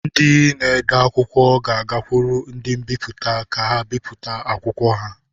Ndị na-ede akwụkwọ ga-agakwuru ndị mbipụta ka ha bipụta akwụkwọ ha.